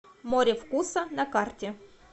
море вкуса на карте